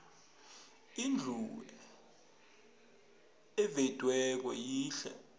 indlu evediweko yihle